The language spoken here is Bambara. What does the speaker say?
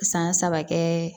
San saba kɛ